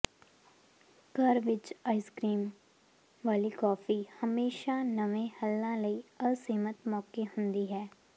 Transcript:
ਘਰ ਵਿੱਚ ice cream ਵਾਲੀ ਕੌਫੀ ਹਮੇਸ਼ਾ ਨਵੇਂ ਹੱਲਾਂ ਲਈ ਅਸੀਮਿਤ ਮੌਕੇ ਹੁੰਦੀ ਹੈ